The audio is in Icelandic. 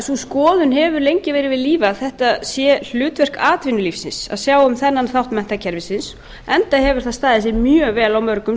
sú skoðun hefur lengi verið við lýði að þetta sé hlutverk atvinnulífsins að sjá um þennan þátt menntakerfisins enda hefur það staðið sig mjög vel á mörgum